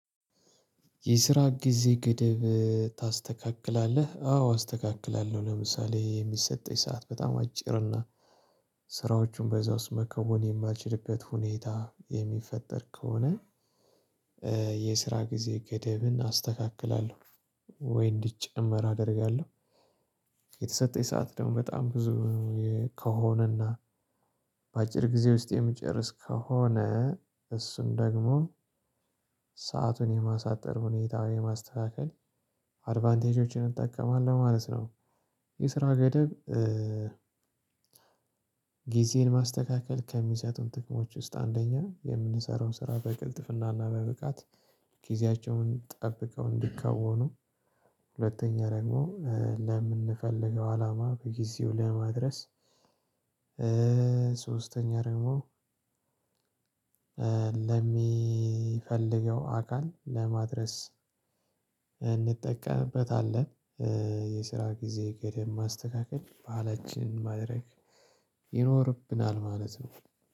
የስራ ጊዜ ገደብ ታስተካክላለህ አዎ አስተካክላለሁ ለምሳሌ የሚሰጠኝ ሰዓት በጣም አጭርና ስራዎቹን በዛ ውስጥ መከወን የማልችልበት ሁኔታ የሚፈጠር ከሆነ። የስራ ጊዜ ገደብን አስተካክላለሁ ወይ እንዲጨመር አደርጋለሁ። የተሰጠኝ ሰዓት ደግሞ በጣም ብዙ ከሆነና በአጭር ጊዜ ውስጥ የምጨርስ ከሆነ እሱን ደግሞ ሰአቱን የማሳጠር ሁኔታውን የማስተካከል አድቫንቴጆችን እጠቀማለው ማለት ነው። የስራ ገደብ። ጊዜን ማስተካከል ከሚሰጡን ጥቅሞች ውስጥ አንደኛ የምንሰራው ስራ በቅልጥፍናና በብቃት ጊዜያቸውን ጠብቀው እንዲከውኑ። ሁለተኛ ደግሞ ለምንፈልገው አላማ በጊዜው ለማድረስ። ሶስተኛ ደግሞ ለሚፈልገው አካል ለማድረስ እንጠቀምበታለን። የስራ ጊዜ ገደብ ማስተካከል ባህላችን ማድረግ ይኖርብናል ማለት ነው።